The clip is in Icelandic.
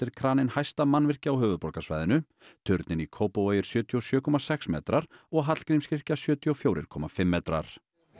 kraninn hæsta mannvirki á höfuðborgarsvæðinu turninn í Kópavogi er sjötíu og sjö komma sex metrar og Hallgrímskirkja sjötíu og fjögur komma fimm metrar